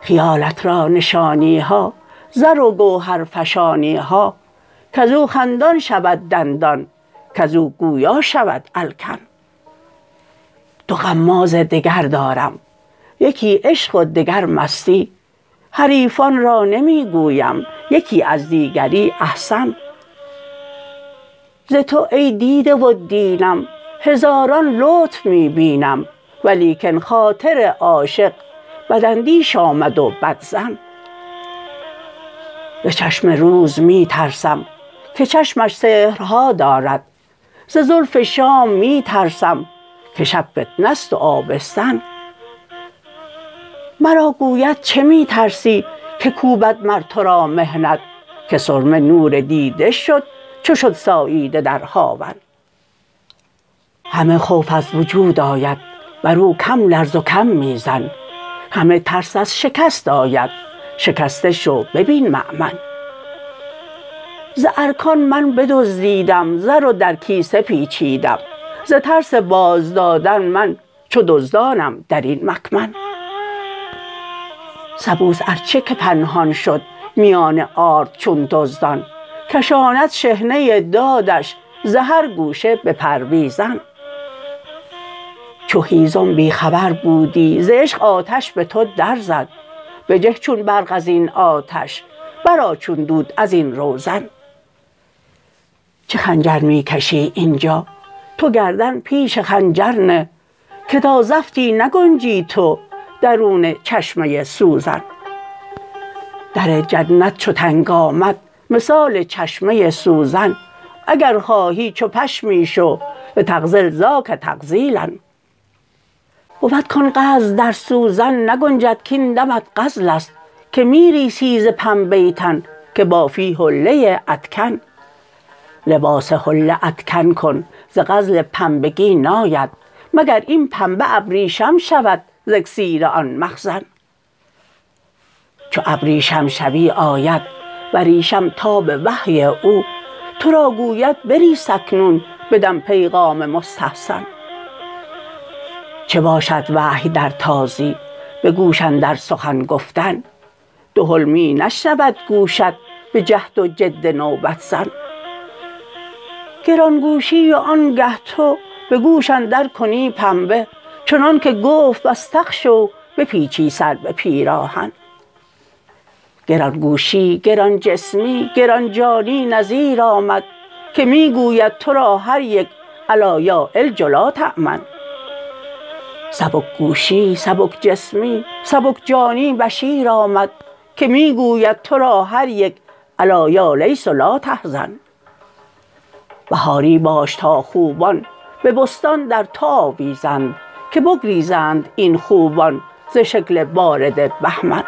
خیالت را نشانی ها زر و گوهرفشانی ها کز او خندان شود دندان کز او گویا شود الکن دو غماز دگر دارم یکی عشق و دگر مستی حریفان را نمی گویم یکی از دیگری احسن ز تو ای دیده و دینم هزاران لطف می بینم ولیکن خاطر عاشق بداندیش آمد و بدظن ز چشم روز می ترسم که چشمش سحرها دارد ز زلف شام می ترسم که شب فتنه است و آبستن مرا گوید چه می ترسی که کوبد مر تو را محنت که سرمه نور دیده شد چو شد ساییده در هاون همه خوف از وجود آید بر او کم لرز و کم می زن همه ترس از شکست آید شکسته شو ببین مأمن ز ارکان من بدزدیدم زر و در کیسه پیچیدم ز ترس بازدادن من چو دزدانم در این مکمن سبوس ار چه که پنهان شد میان آرد چون دزدان کشاند شحنه دادش ز هر گوشه به پرویزن چو هیزم بی خبر بودی ز عشق آتش به تو درزد بجه چون برق از این آتش برآ چون دود از این روزن چه خنجر می کشی این جا تو گردن پیش خنجر نه که تا زفتی نگنجی تو درون چشمه سوزن در جنت چو تنگ آمد مثال چشمه سوزن اگر خواهی چو پشمی شو لتغزل ذاک تغزیلا بود کان غزل در سوزن نگنجد کاین دمت غزل است که می ریسی ز پنبه تن که بافی حله ادکن لباس حله ادکن ز غزل پنبگی ناید مگر این پنبه ابریشم شود ز اکسیر آن مخزن چو ابریشم شوی آید وریشم تاب وحی او تو را گوید بریس اکنون بدم پیغام مستحسن چه باشد وحی در تازی به گوش اندر سخن گفتن دهل می نشنود گوشت به جهد و جد نوبت زن گران گوشی و آنگه تو به گوش اندر کنی پنبه چنانک گفت واستغشوا بپیچی سر به پیراهن گران گوشی گران جسمی گران جانی نذیر آمد که می گوید تو را هر یک الا یا علج لا تأمن سبک گوشی سبک جسمی سبک جانی بشیر آمد که می گوید تو را هر یک الا یا لیث لا تحزن بهاری باش تا خوبان به بستان در تو آویزند که بگریزند این خوبان ز شکل بارد بهمن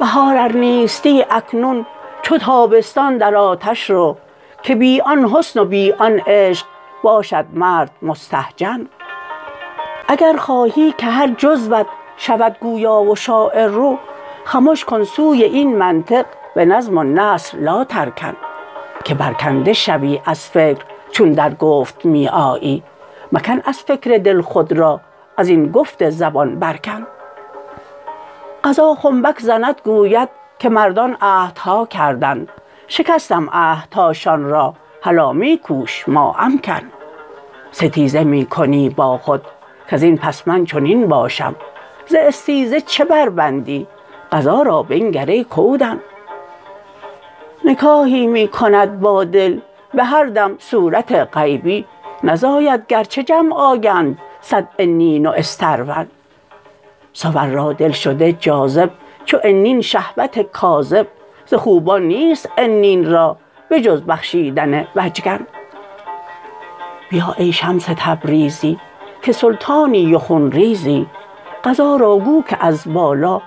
بهار ار نیستی اکنون چو تابستان در آتش رو که بی آن حسن و بی آن عشق باشد مرد مستهجن اگر خواهی که هر جزوت شود گویا و شاعر رو خمش کن سوی این منطق به نظم و نثر لاترکن که برکنده شوی از فکر چون در گفت می آیی مکن از فکر دل خود را از این گفت زبان بر کن قضا خنبک زند گوید که مردان عهدها کردند شکستم عهدهاشان را هلا می کوش ما امکن ستیزه می کنی با خود کز این پس من چنین باشم ز استیزه چه بربندی قضا را بنگر ای کودن نکاحی می کند با دل به هر دم صورت غیبی نزاید گرچه جمع آیند صد عنین و استرون صور را دل شده جاذب چو عنین شهوت کاذب ز خوبان نیست عنین را به جز بخشیدن وجکن بیا ای شمس تبریزی که سلطانی و خون ریزی قضا را گو که از بالا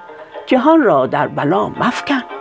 جهان را در بلا مفکن